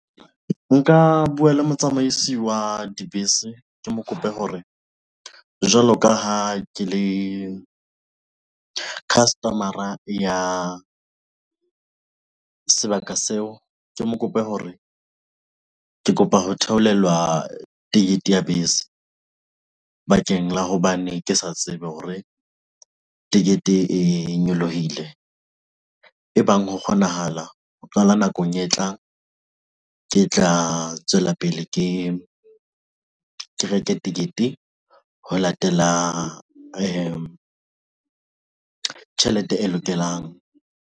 Nka buwa le motsamaisi wa dibese, ke mo kope hore jwalo ka ha ke le customer-a ya sebaka seo, ke mo kope hore ke kopa ho theolelwa ticket ya bese bakeng la hobane ke sa tsebe hore tekete e nyolohile e bang ho kgonahala ho qala nakong e tlang ke tla tswela pele ke reke ticket ho latela tjhelete e lokelang.